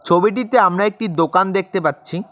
ছবিটিতে আমরা একটি দোকান দেখতে পাচ্ছি।